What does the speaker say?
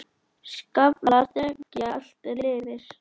Skaflar þekja allt er lifir.